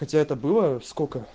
хотя это было сколько